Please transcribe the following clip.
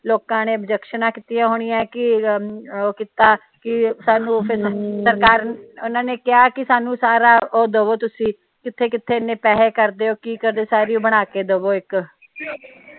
ਲੋਕਾਂ ਨੇ ਓਬਜੈਕਸ਼ਨਾਂ ਕੀਤੀਆਂ ਹੋਣੀਆਂ ਕੇ ਉਹ ਕੀਤਾ ਕੇ ਸਾਨੂੰ ਫਿਰ ਸਰਕਾਰ ਓਹਨਾ ਨੇ ਕਹਿਆ ਕੇ ਸਾਨੂ ਸਾਰਾ ਉਹ ਦਵੋ ਤੁਸੀ ਕਿੱਥੇ ਕਿੱਥੇ ਏਨੇ ਪੈਸੇ ਕਰਦੇ ਓ ਕੀ ਕਰਦੇ ਓ ਸਾਰੀ ਉਹ ਬਣਾ ਕੇ ਦਵੋ ਇਕ